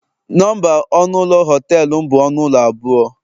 Nọmba ọnụ ụlọ họtelum bụ ọnụ ụlọ abụọ